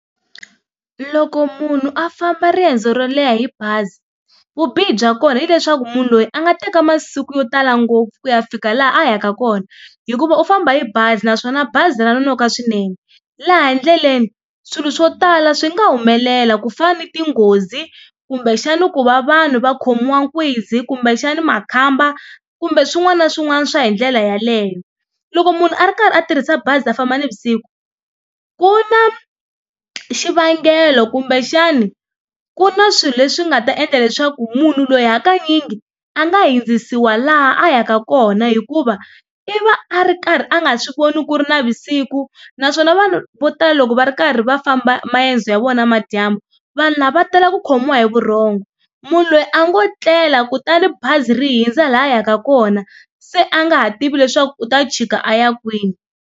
Loko munhu a famba riendzo ro leha hi bazi vubihi bya kona hileswaku munhu loyi a nga teka masiku yo tala ngopfu ku ya fika laha a yaka kona hikuva u famba hi bazi naswona bazi ra nkoka swinene laha ndleleni swilo swo tala swi nga humelela ku fana ni tinghozi kumbexana ku va vanhu va khomiwa kumbexana makhamba kumbe swin'wana na swin'wana swa hi ndlela yaleyo. Loko munhu a ri karhi a tirhisa bazi a famba navusiku ku na xivangelo kumbexana ku na swilo leswi nga ta endla leswaku munhu loyi hakanyingi a nga hundzisiwa laha a yaka kona hikuva i va a ri karhi a nga swi voni ku ri na vusiku naswona vanhu vo tala loko va ri karhi va famba maendzo ya vona namadyambu vanhu lava va tala ku khomiwa hi vurhongo munhu loyi a ngo tlela kutani bazi ri hundza laha a yaka kona se a nga ha tivi leswaku u ta chika a ya kwini.